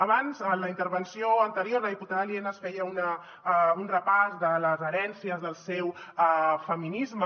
abans en la intervenció anterior la diputada lienas feia un repàs de les herències del seu feminisme